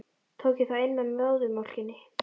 Tók ég það inn með móðurmjólkinni?